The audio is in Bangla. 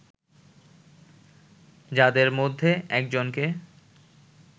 যাদের মধ্যে একজনকে